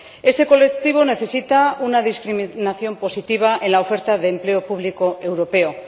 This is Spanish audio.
Este colectivo necesita una discriminación positiva en la oferta de empleo público europeo.